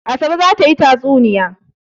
Asabe za ta yi tatsuniya.